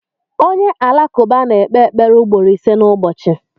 Onye Alakụba na-ekpe ekpere ugboro ise n’ụbọchị.